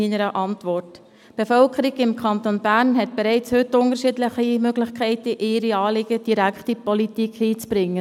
Die Bevölkerung des Kantons Bern hat bereits heute unterschiedliche Möglichkeiten, ihre Anliegen direkt in die Politik einzubringen.